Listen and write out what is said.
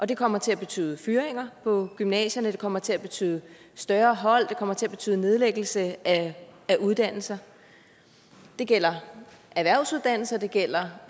det kommer til at betyde fyringer på gymnasierne det kommer til at betyde større hold det kommer til at betyde nedlæggelse af uddannelser det gælder erhvervsuddannelser det gælder